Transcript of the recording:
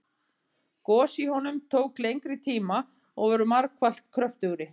Gos í honum tóku lengri tíma og voru margfalt kröftugri.